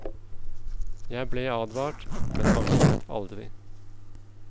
Jeg ble advart, men angret aldri.